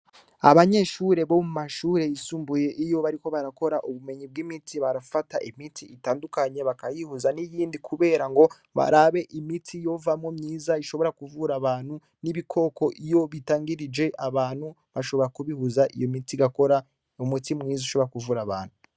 Abanyeshure bo mu mashure yisumbuye iyo bariko barakora ubumenyi bw'imiti barafata imiti itandukanye bakayihuza n'iyindi, kubera ngo barabe imiti yovamwo myiza ishobora kuvura abantu n'ibikoko iyo bitangirije abantu bashobora kubihuza iyo miti gakora u mutima mwiza ushobora kuvura abantu.